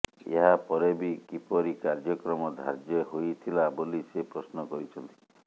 ଏହାପରେ ବି କିପରି କାର୍ଯ୍ୟକ୍ରମ ଧାର୍ଯ୍ୟ ହୋଇଥିଲା ବୋଲି ସେ ପ୍ରଶ୍ନ କରିଛନ୍ତି